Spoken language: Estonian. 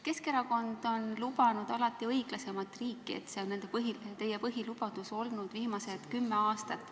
Keskerakond on lubanud alati õiglasemat riiki, see on olnud teie põhilubadus viimased kümme aastat.